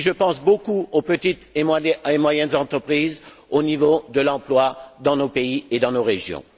Et je pense beaucoup aux petites et moyennes entreprises au niveau de l'emploi dans nos pays et dans nos régions.